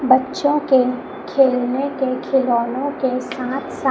बच्चों के खेलने के खिलौने के साथ साथ--